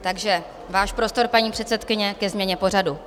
Takže váš prostor, paní předsedkyně, ke změně pořadu.